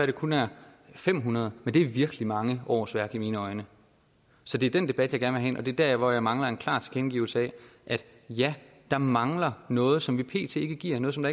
det kun er fem hundrede men det er virkelig mange årsværk i mine øjne så det er den debat jeg gerne vil have ind og det der hvor jeg mangler en klar tilkendegivelse af at ja der mangler noget som man pt ikke giver noget som